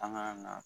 An ka na